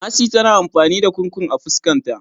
Mercy tana amfani da Kurkur a fuskan ta.